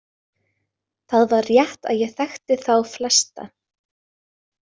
Það var rétt að ég þekkti þá flesta.